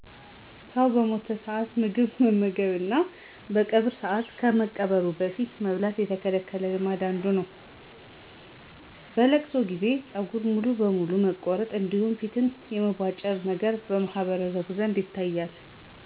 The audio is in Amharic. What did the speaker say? ሰው በሞተ ሰዓት ምግብ መመገብ እና በቀብር ሰዓት ከመቀበሩ በፊት መብላት የተከለከለ ልማድ አንዱ ነው። በ'ለቅሶ' ጊዜ ፀጉር ሙሉ በሙሉ መቆረጥ እንዲሁም ፊትን የመቦጫጨር ነገር በማህበረሰቡ ዘንድ ይታያል።